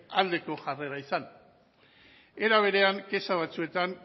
aldeko jarrera izan era berean kexa batzuetan